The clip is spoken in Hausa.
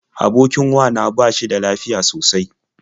Abokin wa na ba shi da lafiya sosai.